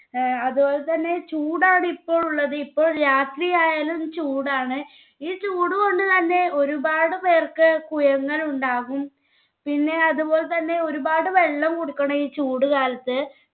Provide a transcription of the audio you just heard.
ഏർ അത് പോലെത്തന്നെ ചൂടാണ് ഇപ്പൊ ഇല്ലത് ഇപ്പോൾ രാത്രി ആയാലും ചൂടാണ്. ഈ ചൂട് കൊണ്ട് തന്നെ ഒരുപാട് പേർക്ക് കുയങ്ങൾ ഇണ്ടാകും. പിന്നെ അതുപോലെതന്നെ ഒരുപാട് വെള്ളം കുടിക്കണം ഈ ചൂട് കാലത്ത്.